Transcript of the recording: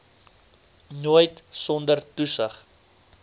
nooit sonder toesig